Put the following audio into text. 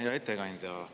Hea ettekandja!